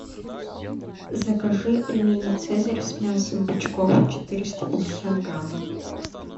закажи пельмени цезарь с мясом бычков четыреста пятьдесят грамм